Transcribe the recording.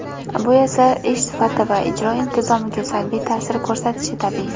Bu esa ish sifati va ijro intizomiga salbiy taʼsir ko‘rsatishi tabiiy.